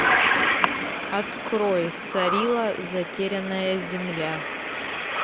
открой сарила затерянная земля